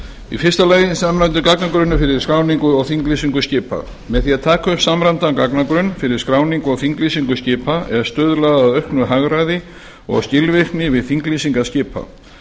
fyrstu samræmdur gagnagrunnur fyrir skráningu og þinglýsingu skipa með því að taka upp samræmdan gagnagrunn fyrir skráningu og þinglýsingu skipa er stuðlað að auknu hagræði og skilvirkni við þinglýsingar skipa